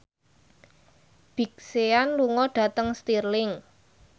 Big Sean lunga dhateng Stirling